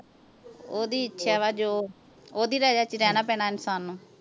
ਓਹਦੀ ਇੱਛਾ ਵਾ ਜੋ ਓਹਦੀ ਰਜਾ ਚ ਹੀ ਰਹਿਣਾ ਪੈਣਾ ਇਨਸਾਨ ਨੂੰ